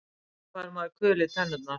Af hverju fær maður kul í tennurnar?